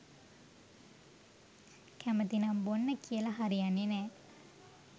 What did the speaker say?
කැමතිනම් බොන්න කියල හරියන්නෙ නෑ.